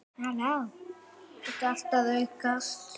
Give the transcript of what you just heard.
Þetta er allt að aukast.